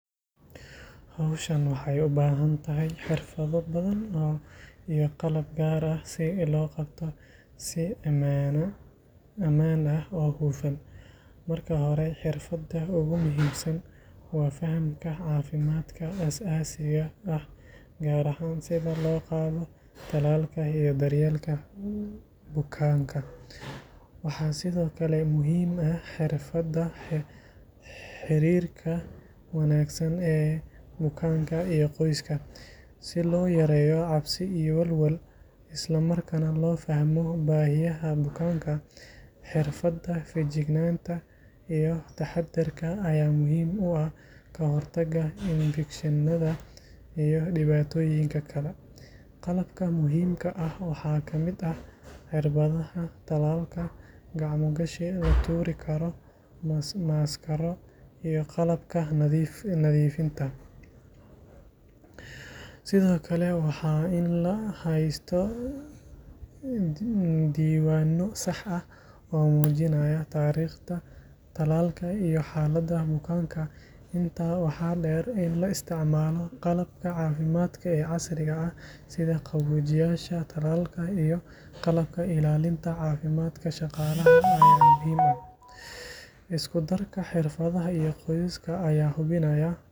Hawshan waxay u baahan tahay xirfado badan iyo qalab gaar ah si loo qabto si ammaan ah oo hufan. Marka hore, xirfadda ugu muhiimsan waa fahamka caafimaadka aasaasiga ah, gaar ahaan sida loo qaado tallaalka iyo daryeelka bukaanka. Waxaa sidoo kale muhiim ah xirfadda xiriirka wanaagsan ee bukaanka iyo qoyska, si loo yareeyo cabsi iyo walwal, isla markaana loo fahmo baahiyaha bukaanka. Xirfadda feejignaanta iyo taxaddarka ayaa muhiim u ah ka hortagga infekshannada iyo dhibaatooyinka kale. Qalabka muhiimka ah waxaa ka mid ah cirbadaha tallaalka, gacmo-gashi la tuuri karo, maaskaro, iyo qalabka nadiifinta. Sidoo kale, waa in la haystaa diiwaanno sax ah oo muujinaya taariikhda tallaalka iyo xaaladda bukaanka. Intaa waxaa dheer, in la isticmaalo qalabka caafimaad ee casriga ah sida qaboojiyeyaasha tallaalka iyo qalabka ilaalinta caafimaadka shaqaalaha ayaa muhiim ah. Isku darka xirfadaha iyo qalabkaas ayaa hubinaya.